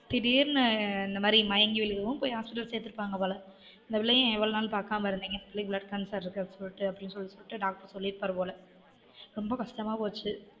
திடீர்னு இந்த மாதிரி மயங்கி விழுகவும் போய் hospital -ல சேத்துருப்பாங்க போல இந்த பிள்ளைய ஏன் இவ்வளவு நாள் பாக்காம இருந்தீங்கனு சொல்லி blood cancer இருக்குநு சொல்லிட்டு அப்டீனு சொல்லிட்டு டாக்டர் சொல்லிருப்பார் போல